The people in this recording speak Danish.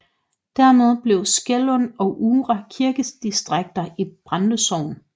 Dermed blev Skærlund og Uhre kirkedistrikter i Brande Sogn